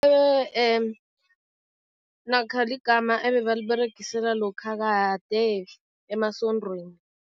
Namkha ligama ebebaliberegisela lokha kade emasontweni.